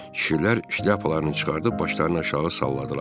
Kişilər şlyapalarını çıxarıb başlarını aşağı salladılar.